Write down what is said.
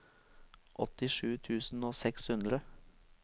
åttisju tusen og seks hundre